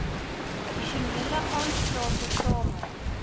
addisionele aanslae tesame